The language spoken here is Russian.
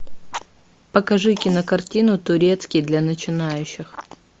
покажи кинокартину турецкий для начинающих